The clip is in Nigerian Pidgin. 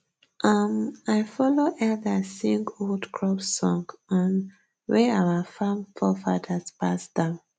um i follow elders sing old crop song um wey our farm forefathers pass down